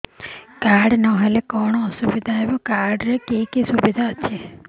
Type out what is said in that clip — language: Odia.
କାର୍ଡ ନହେଲେ କଣ ଅସୁବିଧା ହେବ କାର୍ଡ ରେ କି କି ସୁବିଧା ଅଛି